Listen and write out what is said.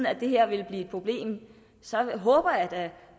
at det her ville blive et problem så håber jeg da